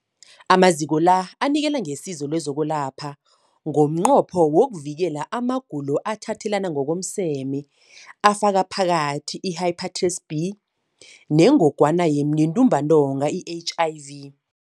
Amaziko la anikela ngesizo lokwelapha ngomnqopho wokuvikela amagulo athathelana ngokomseme afaka phakathi i-Hepatitis B neNgogwana yeNtumbantonga, i-HIV.